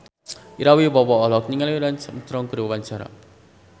Ira Wibowo olohok ningali Lance Armstrong keur diwawancara